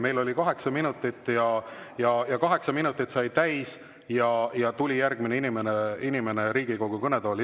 Kõne oli kaheksa minutit, kaheksa minutit sai täis ja järgmine inimene tuli Riigikogu kõnetooli.